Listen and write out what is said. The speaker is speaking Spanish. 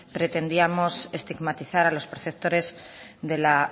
pretendíamos estigmatizar a los perceptores de la